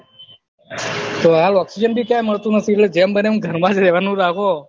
તો હાલ ઓક્ષ્સિજન ભી ક્યાં મળતું નથી તો એટલે જેમ બને એમ ઘર માજ રહવાનું રાખો